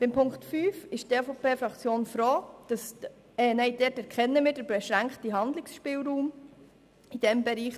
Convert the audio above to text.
Bei Ziffer 5 erkennen wir den beschränkten Handlungsspielraum in diesem Bereich;